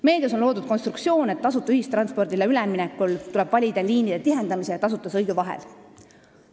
Meedias on loodud konstruktsioon, et tasuta ühistranspordile üleminekul tuleb valida liinide tihendamise ja tasuta sõidu vahel.